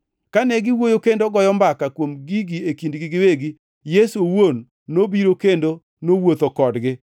Kane giwuoyo kendo goyo mbaka kuom gigi e kindgi giwegi, Yesu owuon nobiro kendo nowuotho kodgi;